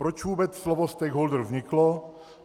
Proč vůbec slovo stakeholder vzniklo?